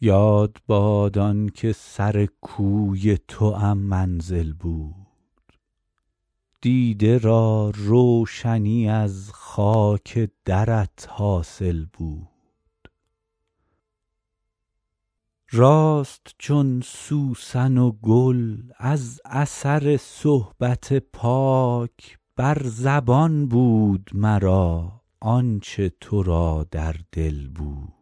یاد باد آن که سر کوی توام منزل بود دیده را روشنی از خاک درت حاصل بود راست چون سوسن و گل از اثر صحبت پاک بر زبان بود مرا آن چه تو را در دل بود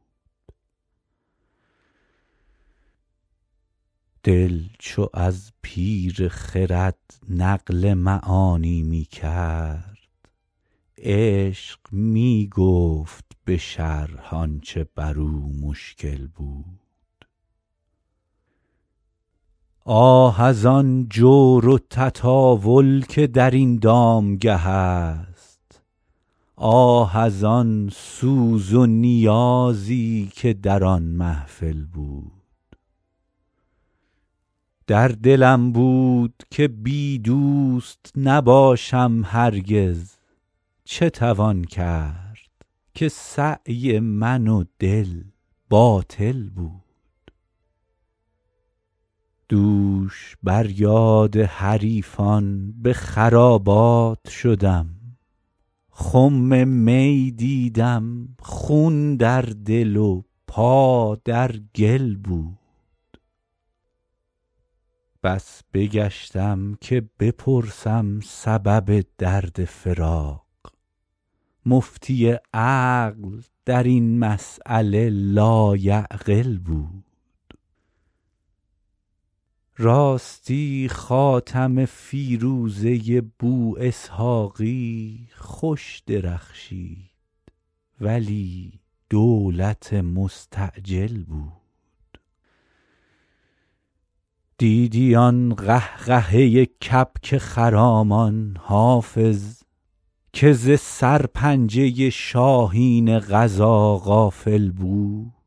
دل چو از پیر خرد نقل معانی می کرد عشق می گفت به شرح آن چه بر او مشکل بود آه از آن جور و تطاول که در این دامگه است آه از آن سوز و نیازی که در آن محفل بود در دلم بود که بی دوست نباشم هرگز چه توان کرد که سعی من و دل باطل بود دوش بر یاد حریفان به خرابات شدم خم می دیدم خون در دل و پا در گل بود بس بگشتم که بپرسم سبب درد فراق مفتی عقل در این مسأله لایعقل بود راستی خاتم فیروزه بواسحاقی خوش درخشید ولی دولت مستعجل بود دیدی آن قهقهه کبک خرامان حافظ که ز سرپنجه شاهین قضا غافل بود